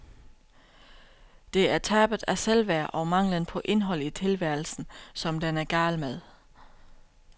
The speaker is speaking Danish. Det er tabet af selvværd og manglen på indhold i tilværelsen, som den er gal med.